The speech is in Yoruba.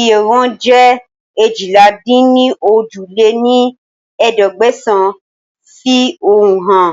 iye wọn jẹ́ eéjìlá-dín-ní-ojì lé ní ẹ̀ẹ́dẹ́gbẹ́sán fi ehonu hàn